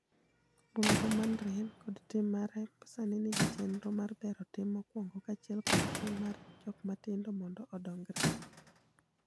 Wuon go manrien kod tim mare sani nigi chenro mar bero tim mokwongo kaachiel kod tim mar jok matindo mondo odongre.